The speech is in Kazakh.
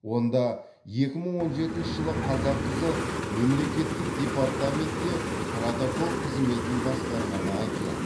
онда екі мың он жетінші жылы қазақ қызы мемлекеттік департаментте протокол қызметін басқарғаны айтылады